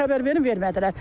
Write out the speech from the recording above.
Bizə xəbər verin, vermədilər.